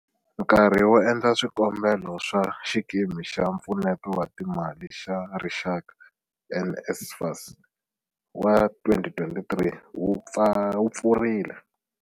Nkarhi wo endla swikombelo swa Xikimi xa Mpfuneto wa Timali xa Rixaka, NSFAS, wa 2023 wu pfurile.